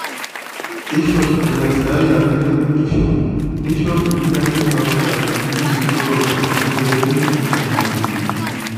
Keishop laisiyiak le biotisho neishop mpirai toonkaik neisudoo enkutuk pee meibung iltamoyia.